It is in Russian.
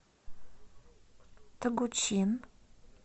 тогучин